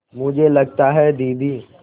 मुझे लगता है दीदी